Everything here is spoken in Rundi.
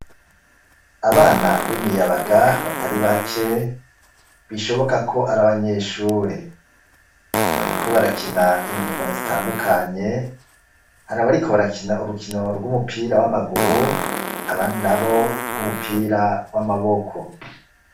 Abana b'imiyabaga batari bake bishoboka ko ari abanyeshure bariko barakina inkino zitandukanye, hari abariko barakina urukino rw'umupira w'amaguru abandi nabo rw'umupira w'amaboko.